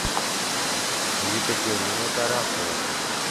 екатерина тарасова